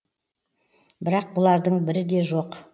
бірақ бұлардың бірі де жоқ